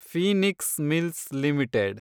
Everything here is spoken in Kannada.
Phoenix Mills limited